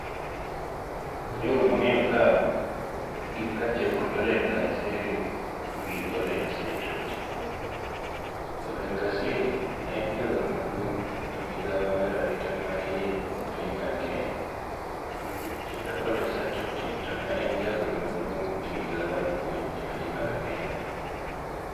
Jogo mange'yo ka, gin kachiel kod Olen Kaiseri gi Olen Saitoti. Olen Kaiseri ne en jagoro maduong' e migao mar arita mahiye e piny mar Kenya, kendo Ole Saitoti to ne en jagoro maduong' e migawo mar puonjo e piny mar Kenya.